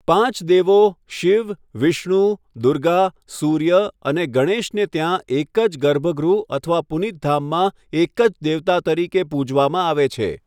પાંચ દેવો શિવ, વિષ્ણુ, દુર્ગા, સૂર્ય અને ગણેશને ત્યાં એક જ ગર્ભગૃહ અથવા પુનિત ધામમાં એક જ દેવતા તરીકે પૂજવામાં આવે છે.